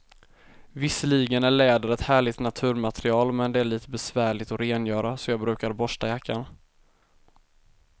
Visserligen är läder ett härligt naturmaterial, men det är lite besvärligt att rengöra, så jag brukar borsta jackan.